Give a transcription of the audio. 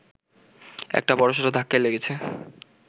একটা বড়সড় ধাক্কাই লেগেছে